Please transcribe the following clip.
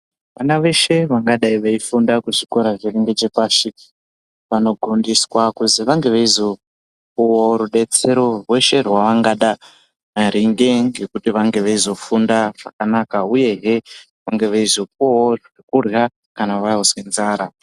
Vana veshe vangadei veifunda kuzvikora zviri ngechepashi vanogondiswa kuti vange veizopiwawo rubetsero rweshe rwavangada maringe ngekuti vange veizofunda zvakanaka uyehe vange veizopuwawo zvekurya kana vakuzwe nzara.